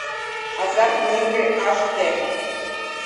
азартные игры аш дэ